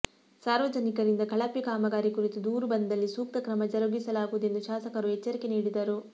ಸಾರ್ವಜನಿಕರಿಂದ ಕಳಪೆ ಕಾಮಗಾರಿ ಕುರಿತು ದೂರು ಬಂದಲ್ಲಿ ಸೂಕ್ತ ಕ್ರಮ ಜರುಗಿಸಲಾಗುವುದೆಂದು ಶಾಸಕರು ಎಚ್ಚರಿಕೆ ನೀಡಿದರು